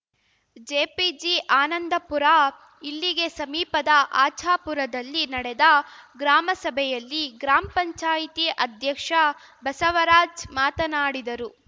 JPG Anandapura ಇಲ್ಲಿಗೆ ಸಮೀಪದ ಆಚಾಪುರದಲ್ಲಿ ನಡೆದ ಗ್ರಾಮಸಭೆಯಲ್ಲಿ ಗ್ರಾಮ್ ಪಂಚಾಯ್ತಿ ಅಧ್ಯಕ್ಷ ಬಸವರಾಜ್‌ ಮಾತನಾಡಿದರು